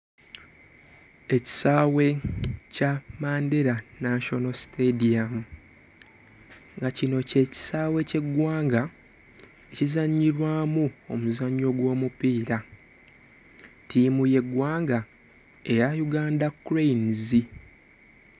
Ekisaawe kya Mandela National Stadium nga kino kye kisaawe ky'eggwanga kizannyibwamu omuzannyo gw'omupiira ttiimu y'eggwanga eya Uganda Cranes.